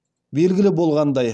белгілі болғандай